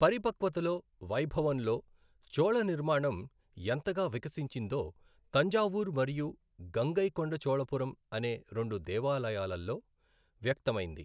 పరిపక్వతలో, వైభవంలో చోళ నిర్మాణం ఎంతగా వికసించిందో తంజావూరు మరియు గంగైకొండచోళపురం అనే రెండు దేవాలయాలలో వ్యక్తమైంది.